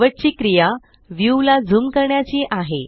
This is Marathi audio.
शेवटची क्रिया व्यू ला ज़ूम करण्याची आहे